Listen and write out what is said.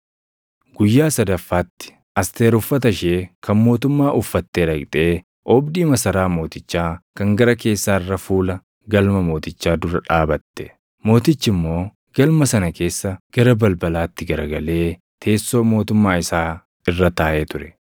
Guyyaa sadaffaatti Asteer uffata ishee kan mootummaa uffatee dhaqxee oobdii masaraa mootichaa kan gara keessaa irra fuula galma mootichaa dura dhaabatte. Mootichi immoo galma sana keessa gara balbalaatti garagalee teessoo mootummaa isaa irra taaʼee ture.